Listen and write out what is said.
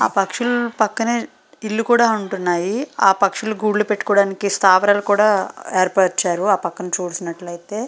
అక్కడ పక్షులు పక్కనే ఇల్లులు కూడా ఉంటున్నాయి. ఆ పక్షులు గూడ్లు పెట్టుకోవడం స్థావలపై కూడా ఏర్పరిచారు ఆ పక్కన చూసినట్లయితే.